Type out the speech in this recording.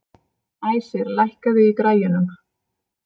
Æsir, lækkaðu í græjunum.